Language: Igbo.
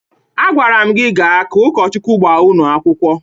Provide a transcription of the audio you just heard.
Agwara m gị gaa ka ụkọchukwu gbaa unu akwụkwọ.